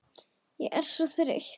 Ég er svo þreytt